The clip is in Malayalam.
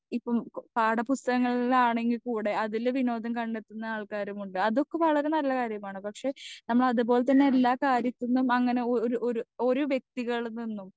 സ്പീക്കർ 2 ഇപ്പം പാഠപുസ്തകങ്ങളാണേങ്കി കൂടെ അതിൽ വിനോദം കണ്ടത്തുന്ന ആൾക്കാരുമുണ്ട് അതൊക്കെ വളരെ നല്ല കാര്യമാണ് പക്ഷെ നമ്മളത് പോലത്തന്നെ എല്ലാ കാര്യത്തിനും അങ്ങനെ ഒരു ഒരു ഒരു വെക്തികളിൽ നിന്നും